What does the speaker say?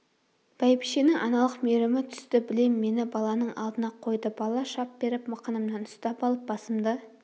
бәйбішенің аналық мейірімі түсті білем мені баланың алдына қойды бала шап беріп мықынымнан ұстап алып басымды